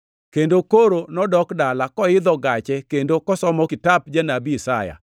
kendo koro nodok dala, koidho gache kendo kosomo kitap Janabi Isaya.